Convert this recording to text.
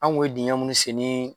An kun ye dingɛ munnu sekin